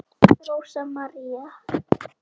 Rósa María.